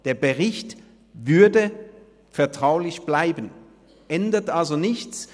Der Bericht würde vertraulich bleiben, es ändert sich also nichts.